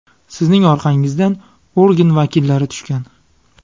Sizning orqangizdan organ vakillari tushgan.